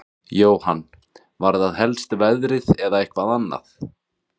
Jóhann: Var það helst veðrið eða eitthvað annað?